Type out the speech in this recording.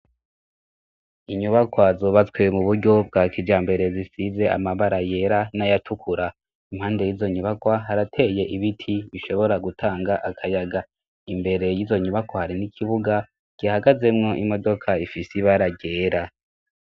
Inyubakwa zubatswe mu buryo bwa kijambere zisize amabara yera n'ayatukura, impande y'izo nyubakwa harateye ibiti bishobora gutanga akayaga, imbere y'izo nyubakwa hari n'ikibuga gihagazemwo imodoka ifise ibara ryera.